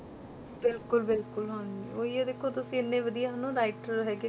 ਬਿਲਕੁਲ ਬਿਲਕੁਲ ਹਾਂਜੀ ਉਹੀ ਹੈ ਦੇਖੋ ਤੁਸੀਂ ਇੰਨੇ ਵਧੀਆ ਹਨਾ writer ਹੈਗੇ,